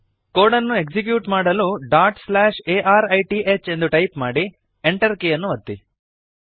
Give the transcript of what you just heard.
code ಅನ್ನು execute ಮಾಡಲು dot slash a r i t h ಎಂದು ಟೈಪ್ ಮಾಡಿ Enter ಕೀಯನ್ನು ಒತ್ತಿ